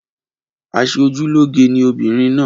Aṣeojúlóge ni obìnrin náà.